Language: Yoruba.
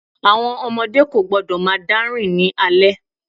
Àwọn ọmọdé kò gbọ́dọ̀ máa dá rìn ní alẹ́.